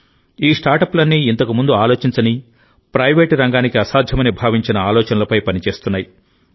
ఈ స్టార్టప్లన్నీ ఇంతకుముందు ఆలోచించని ప్రైవేట్ రంగానికి అసాధ్యమని భావించిన ఆలోచనలపై పనిచేస్తున్నాయి